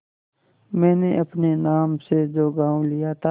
मैंने अपने नाम से जो गॉँव लिया था